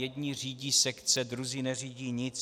Jedni řídí sekce, druzí neřídí nic.